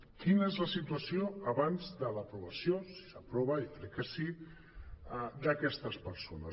quina és la situació abans de l’aprovació si s’aprova jo crec que sí d’aquestes persones